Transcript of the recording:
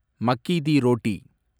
மக்கி டி ரோட்டி